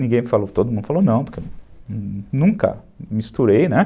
Ninguém falou, todo mundo falou não, porque eu nunca misturei, né?